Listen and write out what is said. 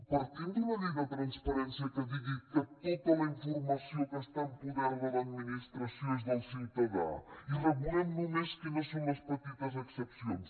partim d’una llei de transparència que digui que tota la informació que està en poder de l’administració és del ciutadà i regulem només quines són les petites excepcions